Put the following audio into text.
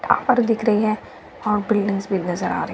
घर दिख रहे हैं और बिल्डिंग्स भी नजर आ रही--